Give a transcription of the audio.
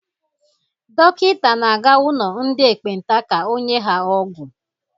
Dọkịta na-aga ụlọ ndị ekpenta ka o nye ha ọgwụ.